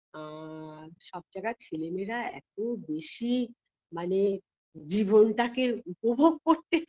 আ সব জায়গার ছেলেমেয়েরা এত বেশি মানে জীবনটাকে উপভোগ করতে